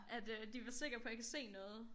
At øh de vil være sikker på jeg kan se noget